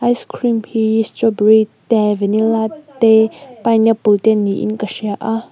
ice cream hi strawberry te vannilla te pineapple te niin ka hria a.